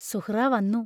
സുഹ്റാ വന്നു.